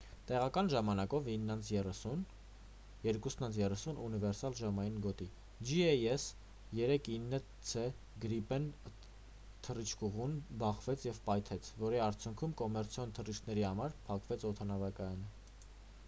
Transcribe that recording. տեղական ժամանակով 9:30 02:30` ունիվերսալ ժամային գոտի jas 39c gripen-ը թռիչքուղուն բախվեց և պայթեց որի արդյունքում կոմերցիոն թռիչքների համար փակվեց օդանավակայանը